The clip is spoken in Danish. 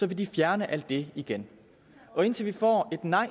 de fjerne alt det igen indtil vi får et nej